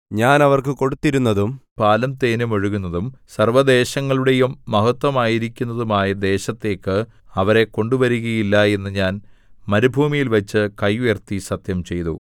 ഞാൻ അവർക്ക് കൊടുത്തിരുന്നതും പാലും തേനും ഒഴുകുന്നതും സർവ്വദേശങ്ങളുടെയും മഹത്ത്വമായിരിക്കുന്നതും ആയ ദേശത്തേക്ക് അവരെ കൊണ്ടുവരുകയില്ല എന്നു ഞാൻ മരുഭൂമിയിൽവച്ച് കൈ ഉയർത്തി സത്യംചെയ്തു